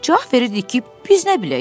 Cavab verirdik ki, biz nə bilək?